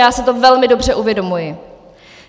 Já si to velmi dobře uvědomuji.